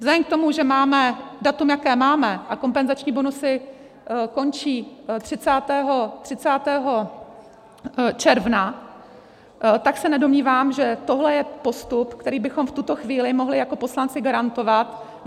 Vzhledem k tomu, že máme datum, jaké máme, a kompenzační bonusy končí 30. června, tak se nedomnívám, že tohle je postup, který bychom v tuto chvíli mohli jako poslanci garantovat.